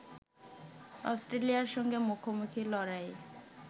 অস্ট্রেলিয়ার সঙ্গে মুখোমুখি লড়াইয়ে